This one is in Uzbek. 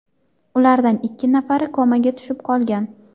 Ulardan ikki nafari komaga tushib qolgan.